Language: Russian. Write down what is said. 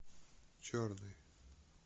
черный